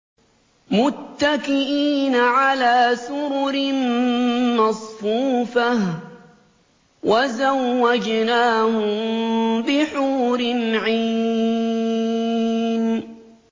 مُتَّكِئِينَ عَلَىٰ سُرُرٍ مَّصْفُوفَةٍ ۖ وَزَوَّجْنَاهُم بِحُورٍ عِينٍ